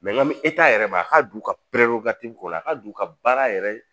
nka mi yɛrɛ ma a ka d'u ka kɔrɔ a ka d'u ka baara yɛrɛ ye